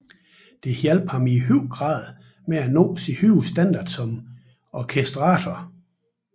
Det hjalp ham i høj grad med at nå sin høje standard som orkestrator